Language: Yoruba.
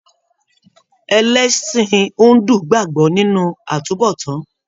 Ẹlẹsin Hindu gbagbọ nínú àtúnbọ̀tán.